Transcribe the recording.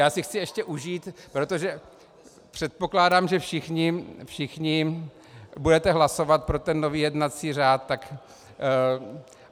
Já si chci ještě užít, protože předpokládám, že všichni budete hlasovat pro ten nový jednací řád.